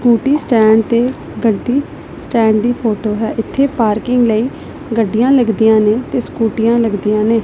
Beauty stand ਤੇ ਗੱਡੀ stand ਦੀ ਫੋਟੋ ਹੈ ਇਥੇ ਪਾਰਕਿੰਗ ਲਈ ਗੱਡੀਆਂ ਲੱਗਦੀਆਂ ਨੇ ਤੇ ਸਕੂਟੀਆ ਲੱਗਦੀਆਂ ਨੇ।